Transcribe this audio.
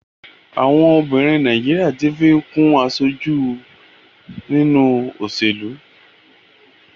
Àwọn obìnrin Nàìjíríà tí ń fi kún aṣojú nínú òṣèlú.